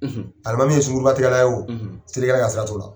Alimami ye sunguruba tigɛla ye o selikɛ ka sira t'o la.